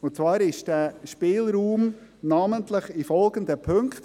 Zwar ist dieser Spielraum namentlich in folgenden Punkten: